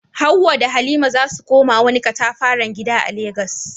Hawwa da Halima za su koma wani katafaren gida a Legas.